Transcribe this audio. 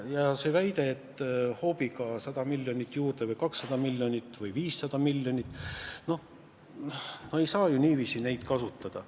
Ja see väide, et hoobiga tuleks 100 miljonit või 200 miljonit või 500 miljonit juurde – no ei saa ju niiviisi neid prognoose kasutada.